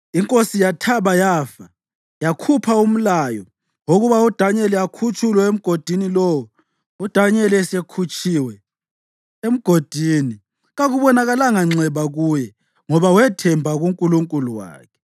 Inkosi yathaba yafa yakhupha umlayo wokuba uDanyeli akhutshulwe emgodini lowo. UDanyeli esekhutshiwe emgodini, kakubonakalanga nxeba kuye, ngoba wathemba kuNkulunkulu wakhe.